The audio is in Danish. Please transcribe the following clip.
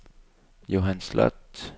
Johan Sloth